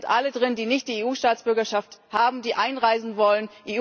Dort sind alle drin, die nicht die EU Staatsbürgerschaft haben, die einreisen wollen.